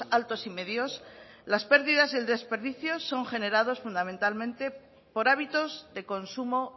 altos y medios las pérdidas en desperdicios son generados fundamentalmente por hábitos de consumo